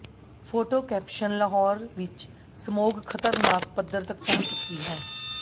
photo caption Lahore ਵਿੱਚ smog ਖ਼ਤਰਨਾਕ ਪੱਧਰ ਤੱਕ ਪਹੁੰਚ ਚੁੱਕੀ ਹੈ